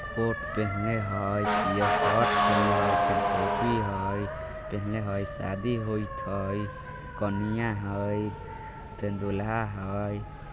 कोट पहिनले है पियर शर्ट पहिनले है फिर टोपी है पहिनले है शादी होइत है कनिया है ते दूल्हा है।